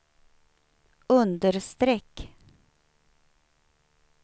understreck